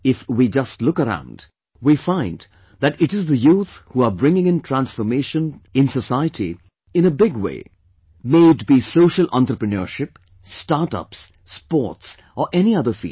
If we just look around, we find that it is the youth who are bringing in transformation of society in a big way, may it be social entrepreneurship, startups, sports or any other field